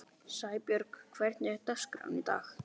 Sæbjörg, hvernig er dagskráin í dag?